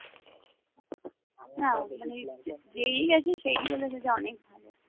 হ্যাঁ মানালি যেই গেছে সেই বলেছে যে অনেক ভালো